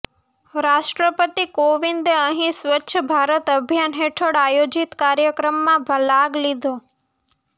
રાષ્ટ્રપતિ કોવિંદે અહીં સ્વચ્છ ભારત અભિયાન હેઠળ આયોજીત કાર્યક્રમમાં લાગ લીધો